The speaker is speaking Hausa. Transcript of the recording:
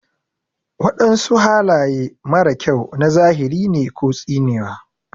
Wadansu halaye mara kyau na zahiri ne ko tsinewa.